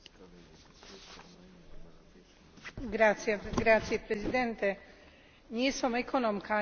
Nie som ekonómka ani finančníčka, preto hlbšiu analýzu predloženého návrhu prenechám kolegom.